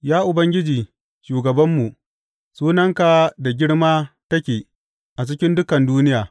Ya Ubangiji, shugabanmu, sunanka da girma take a cikin dukan duniya!